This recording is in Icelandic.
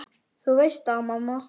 Þú veist það, mamma.